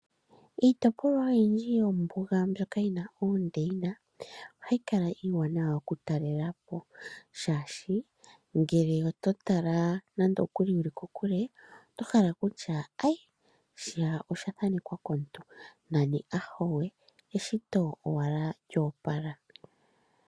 Iitopolwa oyindji yombuga mbyoka yina oondeyina, ohayi kala iiwanawa oku talelapo, shaashi ngele oto tala nande okuli wuli kokule oto hala okutya, ayi! shiya osha thanekwa komuntu, nani ahawe, eshito owala lya opala.